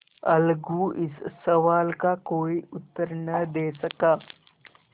अलगू इस सवाल का कोई उत्तर न दे सका